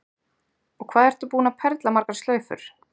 Og hvað ertu búin að perla margar slaufur?